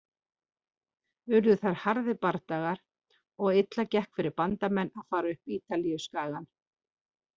Urðu þar harðir bardagar og illa gekk fyrir Bandamenn að fara upp Ítalíuskagann.